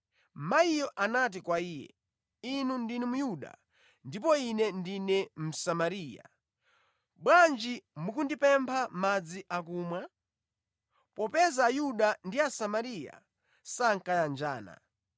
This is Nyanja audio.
Mayiyo anati kwa Iye, “Inu ndinu Myuda ndipo ine ndine Msamariya. Bwanji mukundipempha madzi akumwa?” (Popeza Ayuda ndi Asamariya sankayanjana).